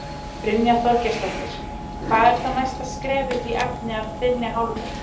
Brynja Þorgeirsdóttir: Hvað er þá næsta skref í því efni af þinni hálfu?